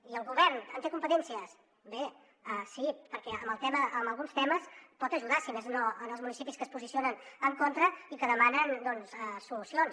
i el govern en té competències bé sí perquè en alguns temes pot ajudar si més no els municipis que s’hi posicionen en contra i que demanen doncs solucions